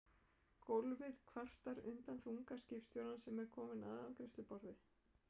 Gólfið kvartar undan þunga skipstjórans sem er kominn að afgreiðsluborð